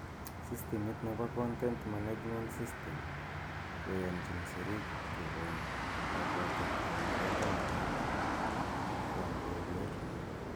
Sistimit nebo content management system , koyanchin sirik kokon kabwatet anan konde ng'alek kwak keker.